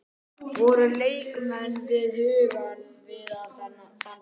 Voru leikmenn við hugann við þann leik?